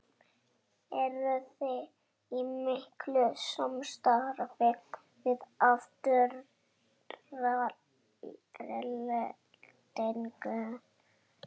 Eruði í miklu samstarfi við Aftureldingu?